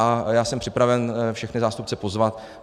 A já jsem připraven všechny zástupce pozvat.